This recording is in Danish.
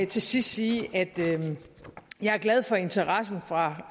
til sidst sige at jeg er glad for interessen fra